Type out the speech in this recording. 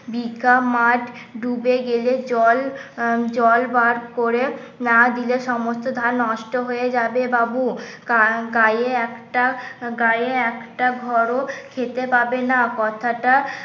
বিঘা মাঠ ডুবে গেলে জল জল বার করে না দিলে সমস্ত ধান নষ্ট হয়ে যাবে বাবু কার গাঁয়ে একটা গাঁয়ে একটা ঘর ও খেতে পাবে না কথাটা